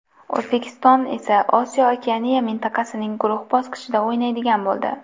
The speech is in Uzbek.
O‘zbekiston esa Osiyo-Okeaniya mintaqasining guruh bosqichida o‘ynaydigan bo‘ldi.